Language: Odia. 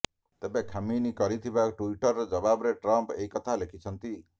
ତେବେ ଖାମିନି କରିଥିବା ଟୁଇଟର ଜବାବରେ ଟ୍ରମ୍ପ୍ ଏ କଥା ଲେଖିଛନ୍ତି